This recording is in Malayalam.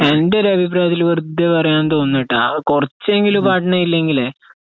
എന്റെയൊരഭിപ്രായത്തില് വെർദ്ദേ പറയാണെന്ന്തോന്നൂട്ടാ കുറച്ചെങ്കിലും പട്നയില്ലെങ്കലെ